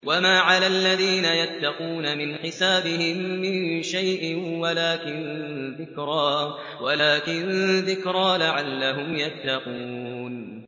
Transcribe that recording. وَمَا عَلَى الَّذِينَ يَتَّقُونَ مِنْ حِسَابِهِم مِّن شَيْءٍ وَلَٰكِن ذِكْرَىٰ لَعَلَّهُمْ يَتَّقُونَ